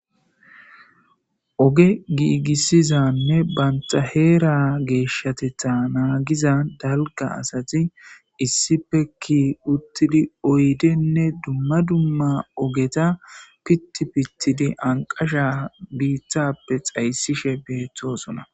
oge giigissizanne banta heera geeshshatetta naagiza dalga asati issipekki uttidi oydenne dumma dumma ogeta pitti pittidi anqasha biitthappe xayssishe beettosona